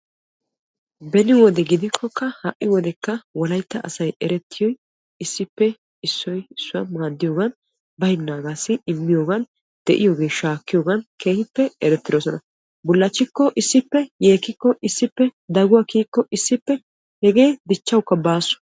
Beni wodekka ha'i wodekka wolaytta asay erettiyoy issippe maadettiyoogan baynnagassi shaakkiddi immiyogan keehippe eretosonna. Bullachikko yeekikko issippe hegeekka dichawu baaso.